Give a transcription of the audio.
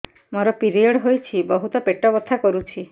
ମୋର ପିରିଅଡ଼ ହୋଇଛି ବହୁତ ପେଟ ବଥା କରୁଛି